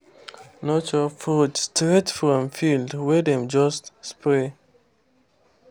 no chop fruit straight from field wey dem just spray.